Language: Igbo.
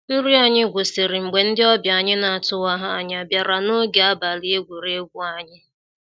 Nrị anyị gwụsịrị mgbe ndị ọbia anyị na-atụwaha anya bịara ń ọge abalị egwuregwu anyị.